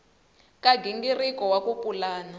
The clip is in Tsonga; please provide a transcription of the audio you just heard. ka nghingiriko wa ku pulana